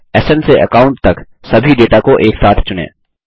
स्न से अकाउंट तक सभी डेटा को एक साथ चुनें